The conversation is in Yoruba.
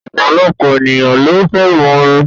Ọ̀pọ̀lọpọ̀ ènìyàn ló fẹ́ràn orin.